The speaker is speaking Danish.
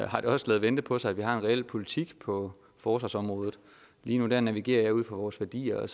har det også ladet vente på sig at vi har fået en reel politik på forsvarsområdet lige nu navigerer jeg ud fra vores værdier og